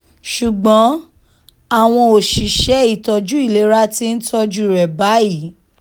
ṣùgbọ́n àwọn òṣìṣẹ́ ìtọ́jú ìlera ti ń tọ́jú rẹ̀ báyìí